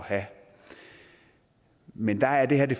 have men der er det